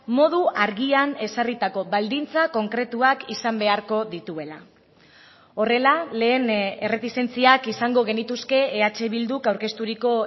modu argian ezarritako baldintza konkretuak izan beharko dituela horrela lehen erretizentziak izango genituzke eh bilduk aurkezturiko